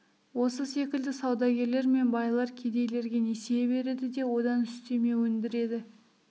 осы секілді саудагерлер мен байлар кедейлерге несие береді де одан үстеме өндіреді